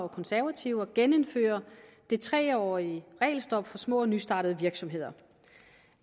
og konservative at genindføre det tre årige regelstop for små og nystartede virksomheder